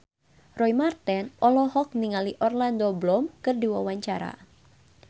Roy Marten olohok ningali Orlando Bloom keur diwawancara